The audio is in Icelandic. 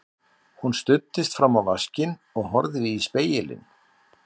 Hún studdist fram á vaskinn og horfði í spegilinn.